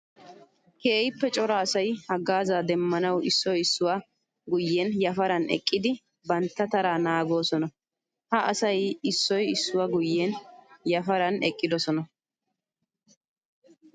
Keehippe cora asay hagaaza demmanawu issoy issuwa guyen yafaran eqqiddi bantta tara naagoosona. Ha asay issoy issuwa guyen yafaran eqqiddosona.